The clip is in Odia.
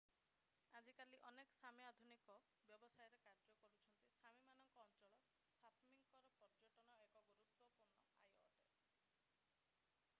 ଆଜିକାଲି ଅନେକ ସାମି ଆଧୁନିକ ବ୍ୟବସାୟରେ କାର୍ଯ୍ୟ କରୁଛନ୍ତି ସାମିମାନଙ୍କ ଅଞ୍ଚଳ ସାପମିରେ ପର୍ଯ୍ୟଟନ ଏକ ଗୁରୁତ୍ୱପୂର୍ଣ୍ଣ ଆୟ ଅଟେ